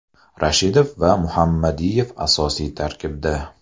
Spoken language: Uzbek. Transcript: Rashidov va Muhammadiyev asosiy tarkibda.